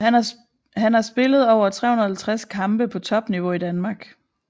Han har spillet over 350 kampe på topniveau i Danmark